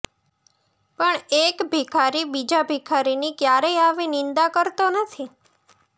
પણ એક ભિખારી બીજા ભિખારીની ક્યારેય આવી નિંદા કરતો નથી